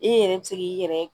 E yɛrɛ bɛ se k'i yɛrɛ